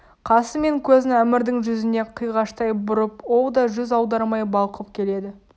қасы мен көзін әмірдің жүзіне қиғаштай бұрып ол да жүз аудармай балқып келеді